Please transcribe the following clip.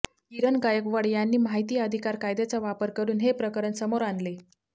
किरण गायकवाड यांनी माहिती अधिकार कायद्याचा वापर करुन हे प्रकरण समोर आणले